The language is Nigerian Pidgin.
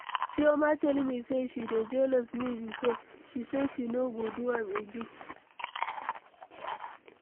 Chioma tell me say she dey jealous me before, she say she no go do am again.